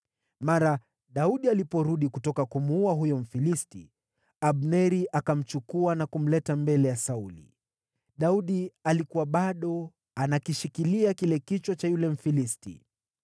Mara Daudi aliporudi kutoka kumuua huyo Mfilisti, Abneri akamchukua na kumleta mbele ya Sauli. Daudi alikuwa bado anakishikilia kichwa cha yule Mfilisti.